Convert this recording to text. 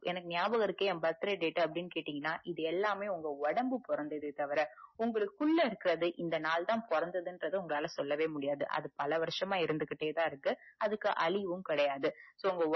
ஞாபகம் இருக்கு ஏன் birthday date அப்டின்னு கேட்டீங்கனா இது எல்லாமே உங்க ஒடம்ப பொறந்த தே தவிர உங்களுக்கு உள்ள இருக்குறது இந்த நாள் தான் பொறந்ததுன்ரத உங்களாலே சொல்லமுடியாது அது பல வருசமா இருந்துட்டே தான் இருக்கு அதுக்கு அழிவும் கெடையாது so